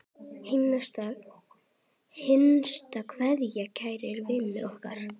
HINSTA KVEÐJA Kæri vinur okkar.